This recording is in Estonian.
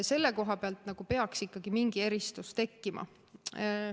Selle koha peal peaks ikkagi mingi eristus tekkima.